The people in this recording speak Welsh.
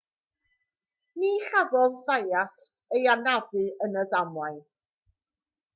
ni chafodd zayat ei anafu yn y ddamwain